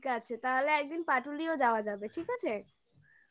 ঠিক আছে তাহলে একদিন পাটুলিও যাওয় যাবে ঠিক আছে